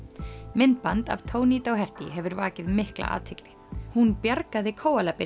myndband af Toni Doherty hefur vakið mikla athygli hún bjargaði